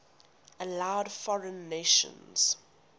allowed foreign nations